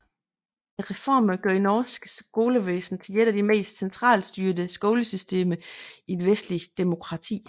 Reformerne gjorde norsk skolevæsen til et af de mest centralstyrede skolesystemer i et vestligt demokrati